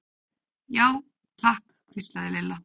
Já, takk hvíslaði Lilla.